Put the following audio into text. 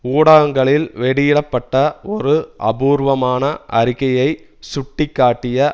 ஊடகங்களில் வெளியிட பட்ட ஒரு அபூர்வமான அறிக்கையை சுட்டி காட்டிய